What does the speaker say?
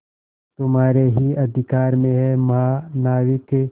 तुम्हारे ही अधिकार में है महानाविक